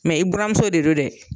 i buramuso de don dɛ